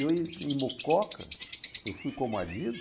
E eu em Mococa, eu fui